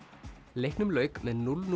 leiknum lauk með núll